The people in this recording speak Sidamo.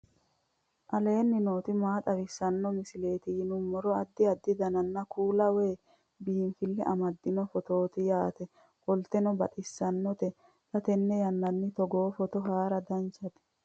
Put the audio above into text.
aleenni nooti maa xawisanno misileeti yinummoro addi addi dananna kuula woy biinfille amaddino footooti yaate qoltenno baxissannote xa tenne yannanni togoo footo haara danchate